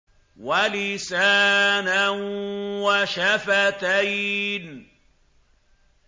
وَلِسَانًا وَشَفَتَيْنِ